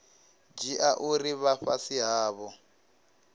dzhia uri vha fhasi havho